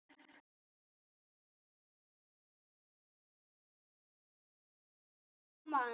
maður er manns gaman.